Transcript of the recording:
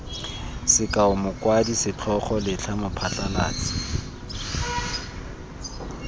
sekao mokwadi setlhogo letlha mophasalatsi